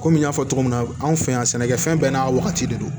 Komi n y'a fɔ cogo min na anw fɛ yan sɛnɛkɛfɛn bɛɛ n'a wagati de don